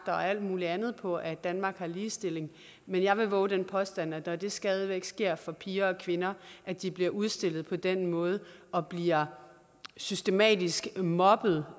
alt muligt andet på at danmark har ligestilling men jeg vil vove den påstand at når det stadig væk sker for piger og kvinder at de bliver udstillet på den måde og bliver systematisk mobbet